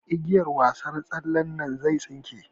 Igiyar wasar tsallen nan zai tsinke.